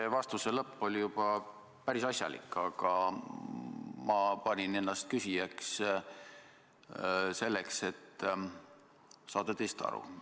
See vastuse lõpp oli juba päris asjalik, aga ma panin ennast küsijaks selleks, et saada teist aru.